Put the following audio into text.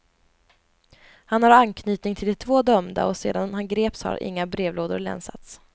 Han har anknytning till de två dömda och sedan han greps har inga brevlådor länsats.